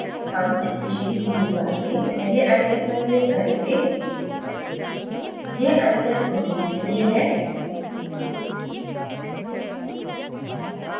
हम species toolbar में पहले icon पर क्लिक करेंगे यह icon protein के लिए है